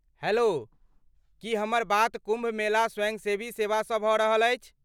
Hello, की हमर बात कुम्भ मेला स्वयंसेवी सेवासँ भऽ रहल अछि?